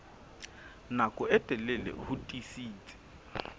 nako e telele ho tiisitse